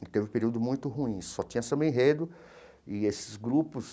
E teve um período muito ruim, só tinha samba-enredo e esses grupos